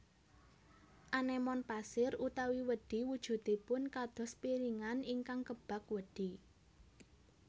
Anémon pasir utawi wedhi wujudipun kados piringan ingkang kebak wedhi